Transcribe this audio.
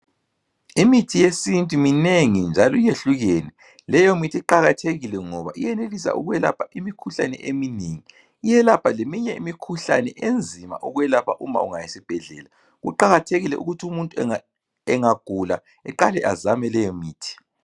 Imithi yesintu minengi njalo iyehlukune. Leyo mithi iqakathekile ngoba iyenelisa ukwelapha imkhuhlani eminingi. Iyelapha leminye imikhuhlane enzima ukwelapha uma ungaya esibhedlela. Kuqakathekile ukuthi umuntu engagula eqale azame leyo mithi.